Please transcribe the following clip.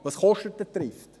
Was kostet denn Trift?